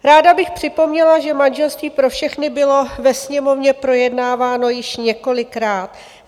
Ráda bych připomněla, že manželství pro všechny bylo ve Sněmovně projednáváno již několikrát.